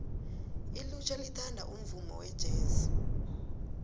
ilutjha lithanda umvumo wejesi